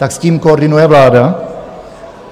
Tak s tím koordinuje vláda?